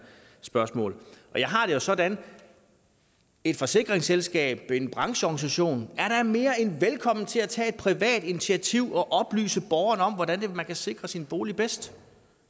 spørgsmål jeg har det jo sådan at et forsikringsselskab en brancheorganisation da er mere end velkommen til at tage et privat initiativ og oplyse borgerne om hvordan man kan sikre sin bolig bedst